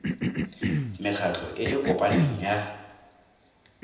mekgatlho e e kopaneng ya